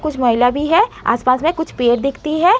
कुछ महिला भी है। आस-पास में कुछ पेड़ दिखती हैं।